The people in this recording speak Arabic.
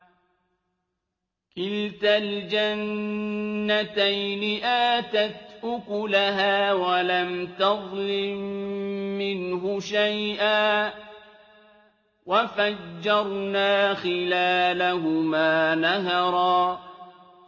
كِلْتَا الْجَنَّتَيْنِ آتَتْ أُكُلَهَا وَلَمْ تَظْلِم مِّنْهُ شَيْئًا ۚ وَفَجَّرْنَا خِلَالَهُمَا نَهَرًا